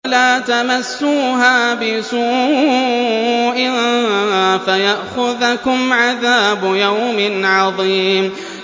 وَلَا تَمَسُّوهَا بِسُوءٍ فَيَأْخُذَكُمْ عَذَابُ يَوْمٍ عَظِيمٍ